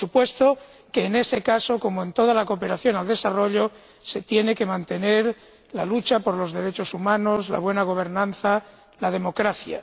Por supuesto que, en ese caso, como en toda la cooperación al desarrollo, se tiene que mantener la lucha por los derechos humanos, la buena gobernanza y la democracia.